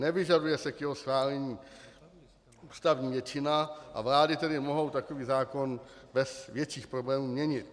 Nevyžaduje se k jeho schválení ústavní většina, a vlády tedy mohou takový zákon bez větších problémů měnit.